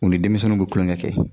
U ni denmisɛnnuw bi kulonkɛ kɛ.